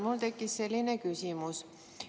Mul tekkis selline küsimus.